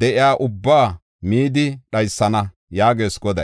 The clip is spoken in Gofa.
de7iya ubbaa midi dhaysana” yaagees Goday.